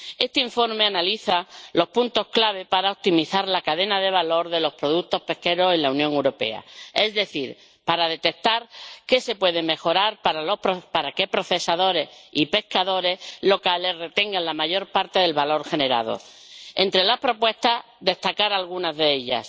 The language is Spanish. Este informe analiza los puntos clave para optimizar la cadena de valor de los productos pesqueros en la Unión Europea, es decir, para detectar qué se puede mejorar para que procesadores y pescadores locales retengan la mayor parte del valor generado. Entre las propuestas, cabe destacar algunas de ellas.